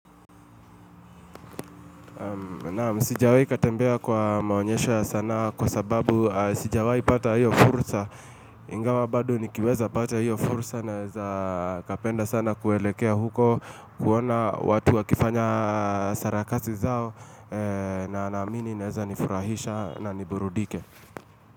Naam, sijawai katembea kwa maonyesho ya sanaa kwa sababu sijawai pata hiyo furusa Ingawa bado nikiweza pata hiyo furusa naeza kapenda sana kuelekea huko kuona watu wa kifanya sarakasi zao na naamini naeza nifurahisha na niburudike.